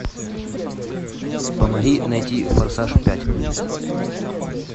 помоги найти форсаж пять